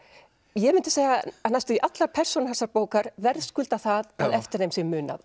ég mundi segja að næstum því allar persónur þessarar bókar verðskulda það að eftir þeim sé munað